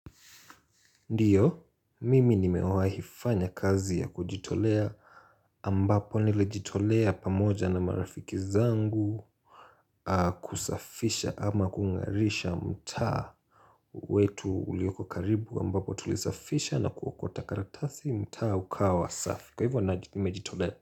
Ndiyo, mimi nimewahi fanya kazi ya kujitolea ambapo nilijitolea pamoja na marafiki zangu kusafisha ama kungarisha mtaa wetu ulioko karibu ambapo tulisafisha na kuokota karatasi mtaa ukawa safi kwa hivyo nimejitolea.